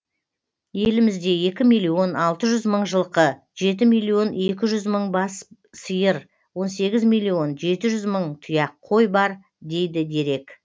елімізде екі миллион алты жүз мың жылқы жеті миллион екі жүз мың бас сиыр он сегіз миллион жеті жүз мың тұяқ қой бар дейді дерек